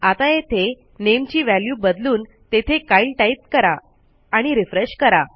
आता येथे नामे ची व्हॅल्यू बदलून तेथे कायल टाईप करा आणि रिफ्रेश करा